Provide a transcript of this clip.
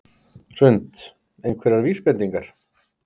Hrund: Einhverjar vísbendingar?